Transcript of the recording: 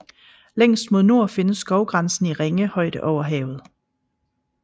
Længst mod nord findes skovgrænsen i ringe højde over havet